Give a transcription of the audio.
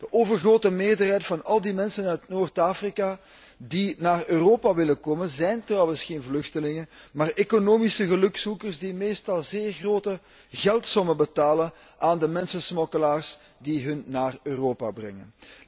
De overgrote meerderheid van al die mensen uit Noord Afrika die naar Europa willen komen zijn trouwens geen vluchtelingen, maar economische gelukzoekers die meestal zeer grote geldsommen betalen aan de mensensmokkelaars die hen naar Europa brengen.